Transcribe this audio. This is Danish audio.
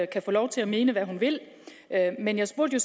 kan få lov til at mene hvad hun vil men jeg spurgte